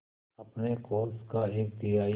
अपने कोष का एक तिहाई